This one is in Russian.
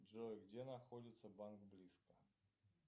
джой где находится банк близко